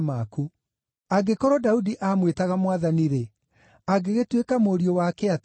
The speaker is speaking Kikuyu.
Angĩkorwo Daudi amwĩtaga ‘Mwathani-rĩ’, angĩgĩtuĩka mũriũ wake atĩa?”